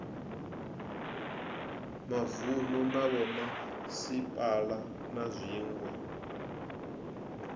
mavunu na vhomasipala na zwiwe